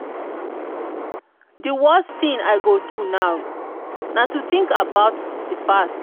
di worst thing i go do now na to think about past.